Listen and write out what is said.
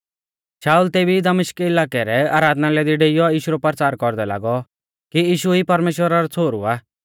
शाऊल तेभी ई दमिश्क इलाकै रै आराधनालय दी डेइऔ यीशु रौ परचार कौरदै लागौ कि यीशु ई परमेश्‍वरा रौ छ़ोहरु आ